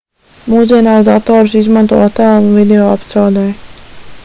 mūsdienās datorus izmanto attēlu un video apstrādei